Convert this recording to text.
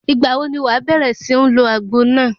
Ìgbà wo ni wàá bẹ̀rẹ̀ sí ń lo àgbo náà?